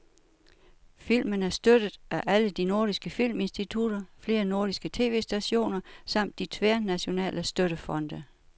Filmen er støttet af alle de nordiske filminstitutter, flere nordiske tv-stationer samt de tværnationale støttefonde.